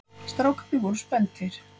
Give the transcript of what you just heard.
Strákarnir voru spenntir.